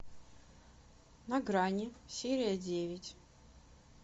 на грани серия девять